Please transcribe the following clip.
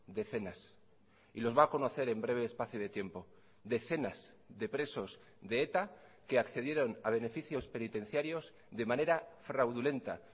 decenas y los va a conocer en breve espacio de tiempo decenas de presos de eta que accedieron a beneficios penitenciarios de manera fraudulenta